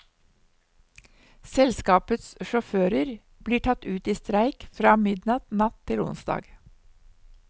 Selskapets sjåfører blir tatt ut i streik fra midnatt natt til onsdag.